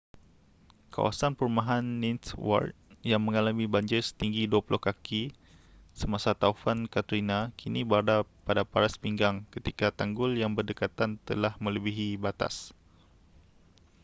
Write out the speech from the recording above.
kawasan perumahan ninth ward yang mengalami banjir setinggi 20 kaki semasa taufan katrina kini berada pada paras pinggang ketika tanggul yang berdekatan telah melebihi batas